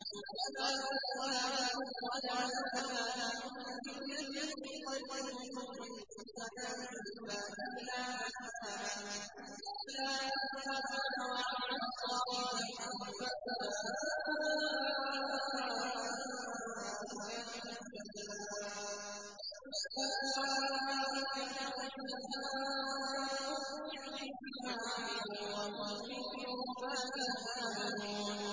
وَمَا أَمْوَالُكُمْ وَلَا أَوْلَادُكُم بِالَّتِي تُقَرِّبُكُمْ عِندَنَا زُلْفَىٰ إِلَّا مَنْ آمَنَ وَعَمِلَ صَالِحًا فَأُولَٰئِكَ لَهُمْ جَزَاءُ الضِّعْفِ بِمَا عَمِلُوا وَهُمْ فِي الْغُرُفَاتِ آمِنُونَ